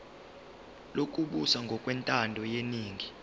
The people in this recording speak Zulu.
lokubusa ngokwentando yeningi